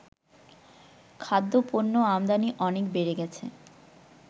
খাদ্যপণ্য আমদানি অনেক বেড়ে গেছে